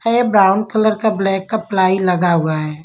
है brown colour का black का प्लाई लगा हुआ है।